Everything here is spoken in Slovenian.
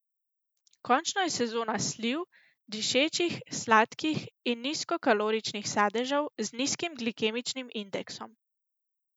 Končno je sezona sliv, dišečih, sladkih nizkokaloričnih sadežev z nizkim glikemičnim indeksom.